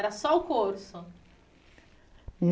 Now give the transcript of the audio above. Era só o curso?